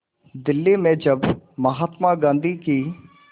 दिल्ली में जब महात्मा गांधी की